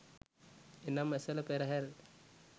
එනම් ඇසළ පෙරහර,